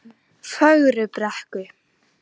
Fögrubrekku